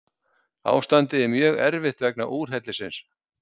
Ástandið er mjög erfitt vegna úrhellisins